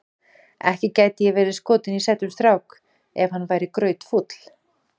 Ekki gæti ég verið skotin í sætum strák ef hann væri grautfúll.